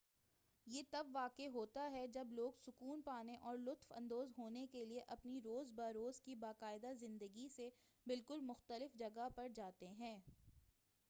یہ تب واقع ہوتا ہے جب لوگ سکون پانے اور لطف اندوز ہونے کے لیے اپنی روز بہ روز کی باقاعدہ زندگی سے بالکل مختلف جگہ پر جاتے ہیں